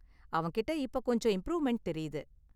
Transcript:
அவன்கிட்ட இப்ப கொஞ்சம் இம்ப்ரூவ்மென்ட் தெரியுது.